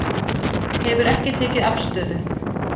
Hefur ekki tekið afstöðu